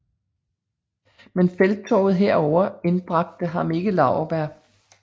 Men felttoget her ovre indbragte ham ikke laurbær